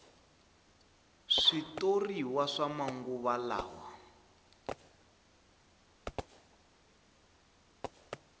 switoriwa swa manguva lawa